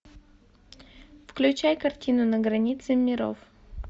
включай картину на границе миров